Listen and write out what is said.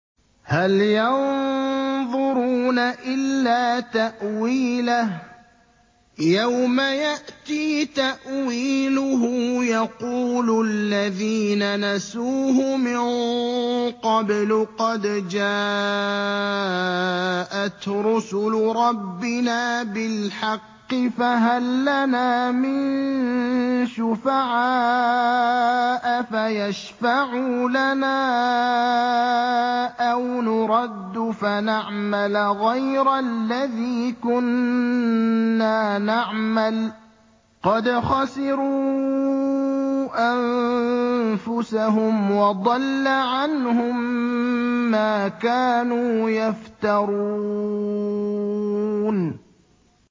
هَلْ يَنظُرُونَ إِلَّا تَأْوِيلَهُ ۚ يَوْمَ يَأْتِي تَأْوِيلُهُ يَقُولُ الَّذِينَ نَسُوهُ مِن قَبْلُ قَدْ جَاءَتْ رُسُلُ رَبِّنَا بِالْحَقِّ فَهَل لَّنَا مِن شُفَعَاءَ فَيَشْفَعُوا لَنَا أَوْ نُرَدُّ فَنَعْمَلَ غَيْرَ الَّذِي كُنَّا نَعْمَلُ ۚ قَدْ خَسِرُوا أَنفُسَهُمْ وَضَلَّ عَنْهُم مَّا كَانُوا يَفْتَرُونَ